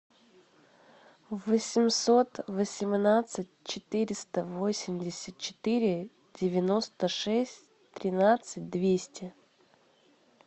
восемьсот восемнадцать четыреста восемьдесят четыре девяносто шесть тринадцать двести